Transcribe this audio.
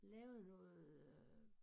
Lavet noget øh